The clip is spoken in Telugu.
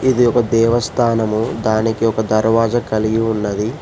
ఇది ఒక దేవస్థానము దానికి ఒక దర్వాజ కలిగి ఉన్నది.